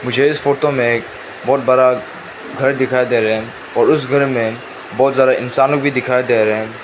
मुझे इस फोटो में एक बहुत बड़ा घर दिखाई दे रहे हैं और उस घर में बहुत ज्यादा इंसान लोग भी दिखाई दे रहे हैं।